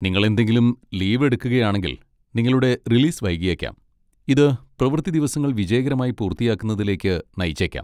നിങ്ങൾ എന്തെങ്കിലും ലീവ് എടുക്കുകയാണെങ്കിൽ, നിങ്ങളുടെ റിലീസ് വൈകിയേക്കാം, ഇത് പ്രവൃത്തി ദിവസങ്ങൾ വിജയകരമായി പൂർത്തിയാക്കുന്നതിലേക്ക് നയിച്ചേക്കാം.